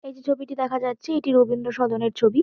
এইযে ছবিটি দেখা যাচ্ছে এটি রবীন্দ্র সদনের ছবি।